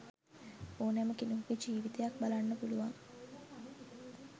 ඕනෑම කෙනෙකුගේ ජීවිතයක් බලන්න පුළුවන්.